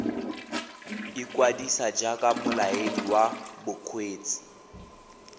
ikwadisa jaaka molaedi wa bokgweetsi